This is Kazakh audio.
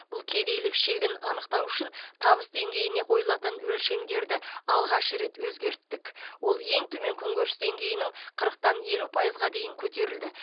бұл кедейлік шегін анықтау үшін табыс деңгейіне қойылатын өлшемдерді алғаш рет өзгерттік ол ең төмен күнкөріс деңгейінің қырықтан елу пайызға дейін көтерілді